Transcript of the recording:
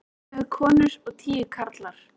Ellefu konur og tíu karlar.